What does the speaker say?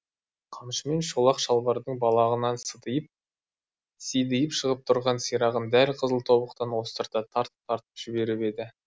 қамшымен шолақ шалбардың балағынан сидиып шығып тұрған сирағын дәл қызыл тобықтан остырта тартып тартып жіберіп еді